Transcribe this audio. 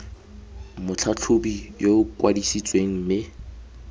motlhatlhobi yo o kwadisitsweng mme